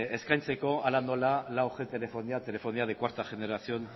eskaintzeko hala nola laug telefonia telefonía de cuarta generación